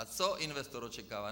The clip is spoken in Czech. A co investor očekává?